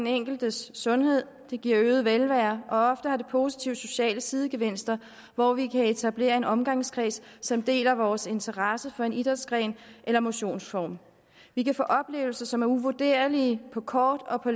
den enkeltes sundhed det giver øget velvære og ofte har det positive sociale sidegevinster hvor vi kan etablere en omgangskreds som deler vores interesse for en idrætsgren eller motionsform vi kan få oplevelser som er uvurderlige på kort og på